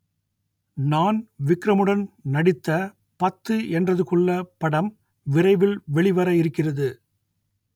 நான் விக்ரமுடன் நடித்த பத்து எண்றதுக்குள்ள படம் விரைவில் வெளிவர இருக்கிறது